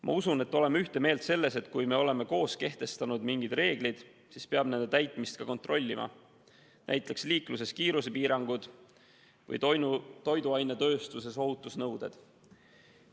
Ma usun, et oleme ühte meelt selles, et kui me oleme koos kehtestanud mingid reeglid, siis peab nende täitmist ka kontrollima, nagu kontrollitakse liikluses kiirusepiirangute ja toiduainetööstuses ohutusnõuete järgimist.